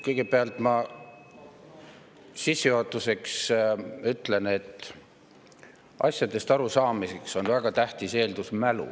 Kõigepealt ma sissejuhatuseks ütlen, et asjadest arusaamiseks on väga tähtis eeldus mälu.